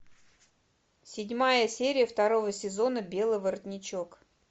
седьмая серия второго сезона белый воротничок